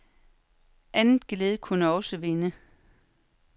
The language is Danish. Andet geled kunne også vinde.